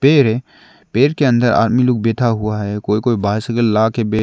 ये पेड़ के अंदर आदमी लोग बैठा हुआ है कोई कोई बाइसाइकिल ला के--